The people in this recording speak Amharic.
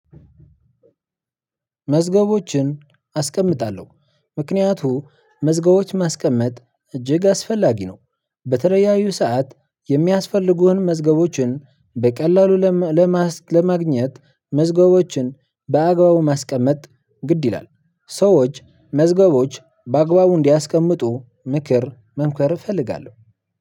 መዝገቦችን አስቀምጣለሁ ምክንያቱ መዝገቦች ማስቀመጥ እጅግ አስፈላጊ ነው። በተለያዩ ሰዓት የሚያስፈልጉህን መዝገቦችን በቀላሉ ለማግኘት መዝገቦችን በአግባቡ ማስቀመጥ ግድ ይላል። ሰዎች መዝገቦች በአግባቡ እንዲያስቀምጡ ምክር መምከር እፈልጋለሁ።